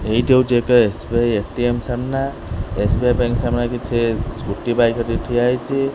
ଏଇଟି ହେଉଛି ଏକ S B I ATM ସାମ୍ନନା ଏସ୍ ବି ଆଇ ବ୍ୟାଙ୍କ୍ ସାମ୍ନନା କିଛି ସ୍କୁଟି ବାଇକ୍ ଧରି ଠିଆ ହେଇଛି।